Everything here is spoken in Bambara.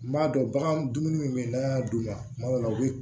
N b'a dɔn bagan dumuni min be yen n'a y'a d'u ma kuma dɔw la u be